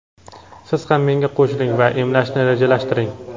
siz ham menga qo‘shiling va emlashni rejalashtiring.